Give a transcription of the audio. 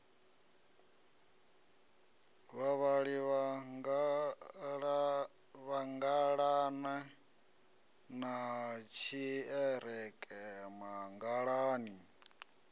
vhavhili mangalani na tshiḓereke mangalani